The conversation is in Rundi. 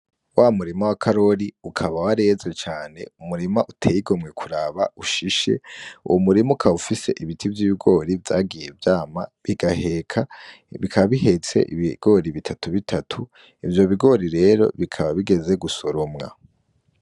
Wa murima wa karori ukaba wareze cane umurima uteye igomwe kuraba ushishe uwu murima ukaba ufise ibiti vy'ibigori vyagiye vyama bigaheka bikaba bihetse ibigori bitatu bitatu ivyo bigori rero bikaba bigeze gusoromwa.